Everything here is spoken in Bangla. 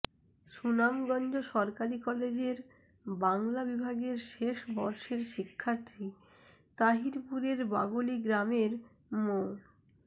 সুনামগঞ্জ সরকারি কলেজের বাংলা বিভাগের শেষ বর্ষের শিক্ষার্থী তাহিরপুরের বাগলী গ্রামের মো